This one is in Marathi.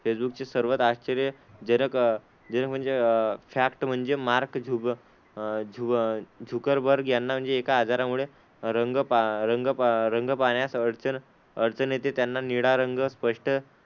फेसबुकचे सर्वात आश्चर्य जनक जनक म्हणजे अह फॅक्ट म्हणजे मार्क झुक अह झु झुकरबर्ग यांना म्हणजे एका आजारामुळे रंग पा रंग पा रंग पाहण्यास अडचण अडचण येते, त्यांना निळा रंग स्पष्ट,